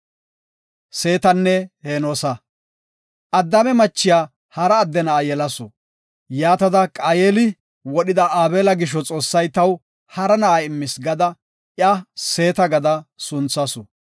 Addaame machiya hara adde na7aa yelasu. Yaatada, “Qaayeli wodhida Aabela gisho Xoossay taw hara na7a immis” gada iya Seeta gada sunthasu.